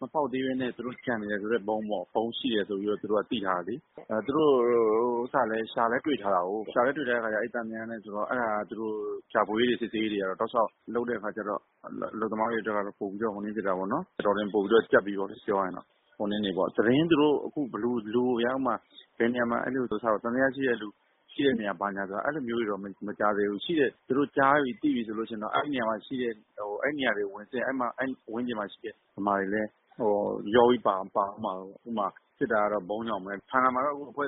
မဖောက်သေးပဲ ကျန်နေတဲ့ဆိုတဲ့ ဗုံးပေါ့။ ဗုံးရှိတယ်ဆိုပြီး သူတို့က သိထားတယ်လေ။ သူတို့က ရှာလည်း တွေ့ထားတာကိုး။ အဲ့တာ သူတို့က ရှာဖွေရေးတွေ စစ်ဆေးရေးတွေကတော့ တောက်လျောက် လုပ်နေတဲ့အခါကျတော့ အလုပ်သမားတွေအတွက်ကတော့ ပိုပြီးတော့ ကြပ်ပြီပေါ့။ သတင်း သူတို့က သံသယရှိတဲ့သူ ဘာညာ အဲ့လိုမျိုးတွေတော့ မကြားသေးဘူး။ သူတို့ကြားပြီ သိပြီဆိုရင်တော့ အဲ့နေရာတွေကို ဝင်စစ်ရင် အဲ့နေရာတွေမှာရှိတဲ့ ဗမာတွေလည်း ရောပြီး ပါသွားမှာပေါ့။ ဥပမာ စစ်တာကတော့ ဗုံးကြောင့်ပဲ အခုက ဖန်ငါမှာတော့ ဒီနေ့ကစ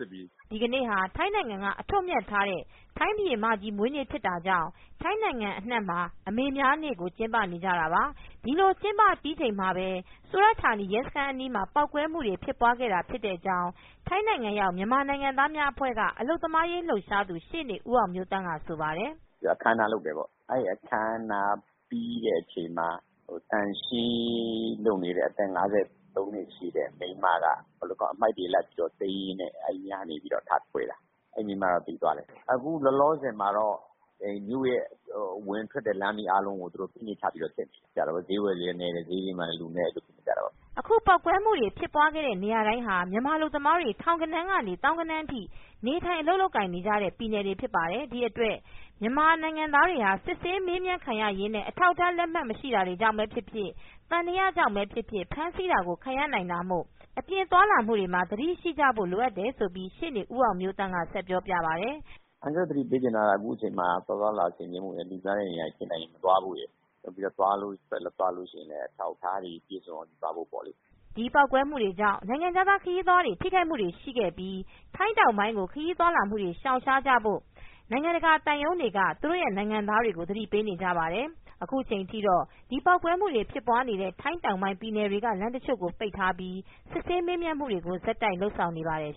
စစ်ပြီ။" ဒီနေ့ဟာ ထိုင်းနိုင်ငံက အထွတ်အမြတ်ထားတဲ့ ထိုင်းဘုရင်မကြီးမွေးနေ့ ဖြစ် တာကြောင့် ထိုင်းနိုင်ငံအနှံ့မှာ အမေများနေ့ကို ကျင်းပနေကြတာပါ။ ဒီလိုကျင်းပပြီးချိန်မှာပဲ ဆူရတ်ဌာနီ ရဲစခန်း အနီးမှာ ပေါက်ကွဲမူဖြစ်ပွား ခဲ့တာဖြစ်တယ်လို့ ထိုင်းနိုင်ငံရောက်မြန်မာနိုင်ငံသားအဖွဲ့က အလုပ်သမားရေး လှုပ်ရှားသူ ရှေ့နေဦးအောင်မျိုးသန့်ကဆိုပါတယ်။ " အခမ်းအနားလုပ်တယ်ပေါ့။ အဲ့ဒီ့အခမ်းအနားပြီးတဲ့အချိန် မှာ သန့်ရှင်းရေး လုပ်နေတဲ့ အသက် ၅၃နှစ်ရှိတဲ့မိန်းမ အမှိုက်တွေ လိုက်သိမ်းရင်းနဲ့ အဲ့နေရာကနေ ထကွဲတာ။ အဲ့မိန်းမတော့ သေသွားတယ်။ အခုလောလောဆယ်မှာတော့ မြို့ရဲ့ အဝင်အထွက် လမ်းတွေ အားလုံး စစ်နေတယ်။ ဈေးဝယ်တွေလည်း နည်းတယ်။ ဈေးတွေမှာလည်း လူနည်း အဲ့လိုဖြစ်ကြတာပေါ့။" အခုပေါက်ကွဲမှု ဖြစ်ပွားတဲ့နေရာတိုင်းမှာ မြန်မာအလုပ်သမားတွေ ထောင်ဂဏန်းကနေ သောင်းဂဏန်းထိ နေထိုင် အလုပ်လုပ်ကိုင်နေကြတဲ့ ပြည်နယ်တွေဖြစ် ပါတယ်။ ဒီ့အတွက် မြန်မာတွေဟာ စစ်ဆေးမေးမြန်းခံရရင်းနဲ့ အထောက်အထား လက်မှတ်မရှိတာကြောင့်ပဲဖြစ်ဖြစ် သံသယကြောင့်ပဲဖြစ်ဖြစ် ဖမ်းဆီးတာကို ခံရနိုင်တာမို့ အပြင်ထွက် သွားလာမှုတွေမှာ သတိထားကြဖို့ ရှေ့နေ ဦးအောင်မျိုးသန့်က ဆက်ပြောပြပါတယ်။ " အန်ကယ်လ်တို့ သတိပေးချင်တာ သွားသွားလာလာဆင်ခြင်ဖို့ လူသွားလူလာများတဲ့နေရာတွေ မသွားဖို့။ နောက်ပြီးတော့ သွားလို့ရှိရင်လည်း အထောက်အထားတွေ ပြည့်စုံအောင် ယူသွားဖို့ပေါ့။" ဒီပေါက်ကွဲမူကြောင့် နိုင်ငံခြားသားခရီးသွားတွေ ထိခိုက်မူတွေရှိခဲ့ပြီး ထိုင်းတောင်ပိုင်းကို ခရီးသွားလာမူတွေ ရှောင်ရှားကြဖို့နိုင်ငံတကာ သံရုံးတွေက သူတို့ နိုင်ငံသားတွေကို သတိပေးနေပါတယ်။ အခုချိန်ထိတော့ အဲ့ဒီပေါက်ကွဲမှုဖြစ်နေတဲ့ ထိုင်းတောင်ပိုင်းပြည်နယ်တွေက လမ်းတချို့ကိုပိတ်ပြီး စစ်ဆေးမေးမြန်းမူတွေကိုဆက်တိုက်လုပ်ဆောင်နေပါတယ်